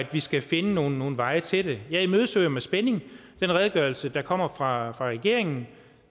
vi skal finde nogle veje til det jeg imødeser med spænding den redegørelse der kommer fra regeringen